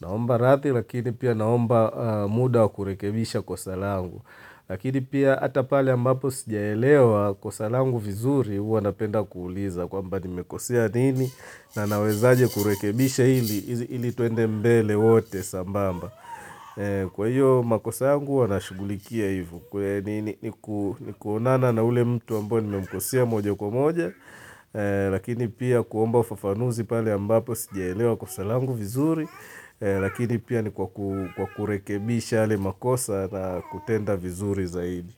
Naomba rathi lakini pia naomba muda wa kurekebisha kosa langu. Lakini pia ata pale ambapo sijaelewa kosa langu vizuri huwa napenda kuuliza. Kwamba nimekosea nini na naweza aje kurekebisha hili tuende mbele wote sambamba. Kwa hiyo makosa yangu huwa na shugulikia hivyo. Kwa nini ni kuonana na ule mtu ambayo nimemkosea moja kwa moja lakini pia kuomba ufafanuzi pale ambapo sijaelewa kuso langu vizuri lakini pia ni kwa kurekebisha yale makosa na kutenda vizuri zaidi.